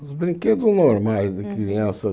Os brinquedos normais de criança.